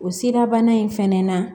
O sirabana in fɛnɛ na